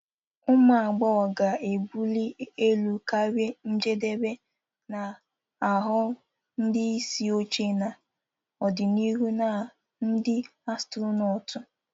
Ụmụ agbọghọ ga-ebuli elu karịa njedebe, na-aghọ ndị isi oche n'ọdịnihu na ndị astronotu.